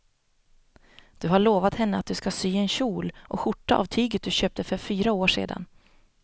Du har lovat henne att du ska sy en kjol och skjorta av tyget du köpte för fyra år sedan.